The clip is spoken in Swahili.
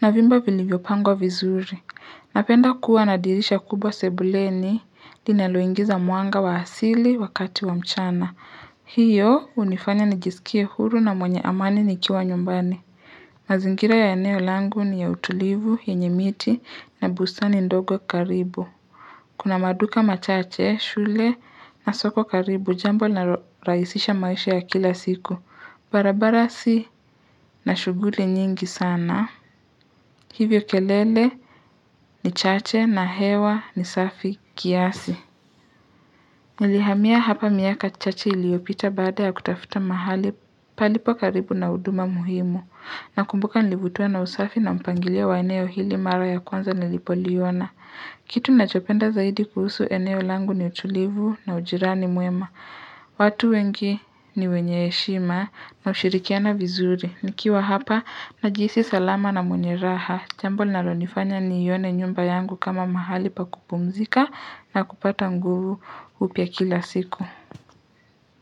na vyumba vilivyopangwa vizuri. Napenda kuwa na dirisha kubwa sebuleni, linaloingiza mwanga wa asili wakati wa mchana. Hiyo hunifanya nijisikie huru na mwenye amani nikiwa nyumbani. Mazingira ya eneo langu ni ya utulivu, yenye miti na bustani ndogo karibu. Kuna maduka machache, shule na soko karibu jambo linalorahisisha maisha ya kila siku. Barabara si na shughuli nyingi sana. Hivyo kelele ni chache na hewa ni safi kiasi. Nilihamia hapa miaka chache iliyopita baada ya kutafuta mahali palipo karibu na huduma muhimu. Nakumbuka nilibutwa na usafi na mpangilio wa eneo hili mara ya kwanza nilipoliona. Kitu nachopenda zaidi kuhusu eneo langu ni utulivu na ujirani mwema. Watu wengi ni wenye heshima na ushirikiana vizuri. Nikiwa hapa najihisi salama na mwenye raha. Jambo linalonifanya nione nyumba yangu kama mahali pa kupumzika na kupata nguvu upya kila siku.